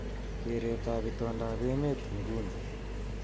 Keret ab itondoab emet nguni